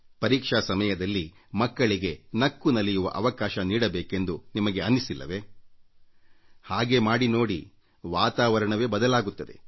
ಪರೀಕ್ಷೆ ಸಮಯದಲ್ಲಿ ಮಕ್ಕಳಿಗೆ ನಕ್ಕು ನಲಿಯುವ ಅವಕಾಶ ನೀಡಬೇಕೆಂದು ನಿಮಗೆ ಅನ್ನಿಸಿಲ್ಲವೇ ನೀವೂ ಹೀಗೆ ಮಾಡಿ ನೋಡಿ ವಾತಾವರಣವೇ ಬದಲಾಗುತ್ತದೆ